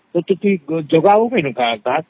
ଜାଗ ଆଉ କେନ୍ତି ଡା